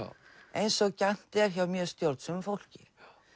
eins og gjarnt er hjá mjög stjórnsömu fólki